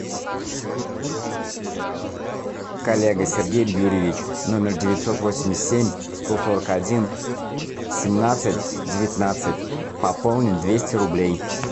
коллега сергей юрьевич номер девятьсот восемьдесят семь сто сорок один семнадцать девятнадцать пополнить двести рублей